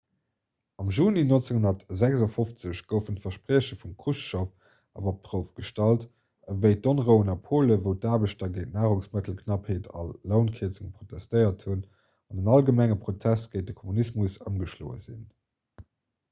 am juni 1956 goufen d'versprieche vum chruschtschow awer op d'prouf gestallt wéi d'onrouen a polen wou d'aarbechter géint d'narungsmëttelknappheet a lounkierzunge protestéiert hunn an en allgemenge protest géint de kommunismus ëmgeschloe sinn